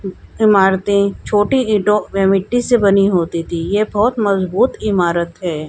इमारतें छोटी ईंटों व मिट्टी से बनी होती थी यह बहुत मजबूत इमारत है।